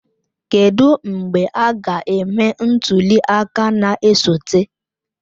Kedụ mgbe a ga-eme ntuli aka na-esote?